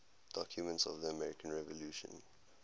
documents of the american revolution